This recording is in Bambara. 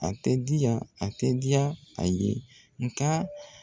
A te di yan, a tɛ diya a ye . Nga